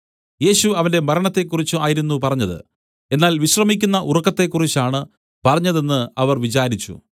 യേശു അവന്റെ മരണത്തെക്കുറിച്ചു ആയിരുന്നു പറഞ്ഞത് എന്നാൽ വിശ്രമിക്കുന്ന ഉറക്കത്തെക്കുറിച്ചാണ് പറഞ്ഞതെന്ന് അവർ വിചാരിച്ചു